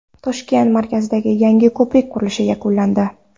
Toshkent markazidagi yangi ko‘prik qurilishi yakunlandi.